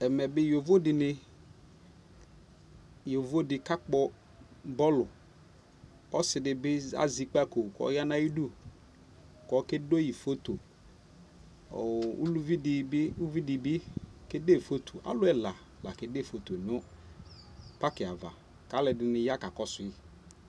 Ɛmɛ bi yovo dini yovo di ka kpɔ bɔɔluƆsi di bi azɛ ikpako kɔya na yi du kɔ kɛ de yi foto Ɔluvi di bi, uvi di bi fotoAlu ɛla la kɛde foto nu paki yɛ avaKa lu ɛdinj ya ka ku su yi